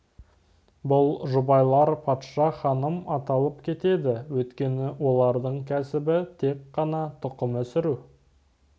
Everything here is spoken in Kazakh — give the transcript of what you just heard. бұл жұбайлар патша ханым аталып кетеді өйткені олардың кәсібі тек қана тұқым өсіру